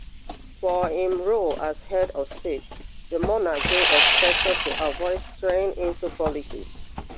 for im role as head of state di monarch dey expected to avoid straying into politics